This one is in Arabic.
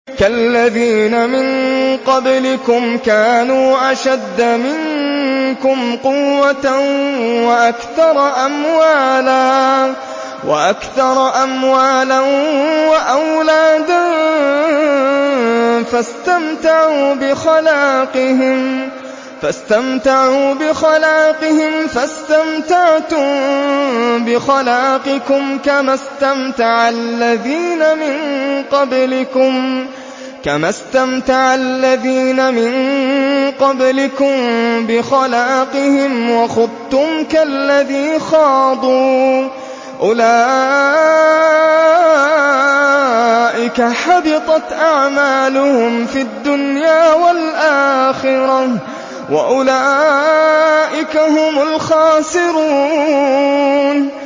كَالَّذِينَ مِن قَبْلِكُمْ كَانُوا أَشَدَّ مِنكُمْ قُوَّةً وَأَكْثَرَ أَمْوَالًا وَأَوْلَادًا فَاسْتَمْتَعُوا بِخَلَاقِهِمْ فَاسْتَمْتَعْتُم بِخَلَاقِكُمْ كَمَا اسْتَمْتَعَ الَّذِينَ مِن قَبْلِكُم بِخَلَاقِهِمْ وَخُضْتُمْ كَالَّذِي خَاضُوا ۚ أُولَٰئِكَ حَبِطَتْ أَعْمَالُهُمْ فِي الدُّنْيَا وَالْآخِرَةِ ۖ وَأُولَٰئِكَ هُمُ الْخَاسِرُونَ